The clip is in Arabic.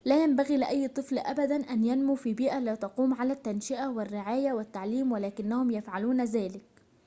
لا ينبغي لأي طفل أبداً أن ينمو في بيئة لا تقوم على التنشئة والرعاية والتعليم ولكنهم يفعلون ذلك